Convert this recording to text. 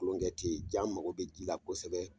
Kolonkɛ te ye jan an mago bi ji la kosɛbɛ